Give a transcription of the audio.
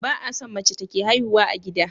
Ba a son mace take haihuwa a gida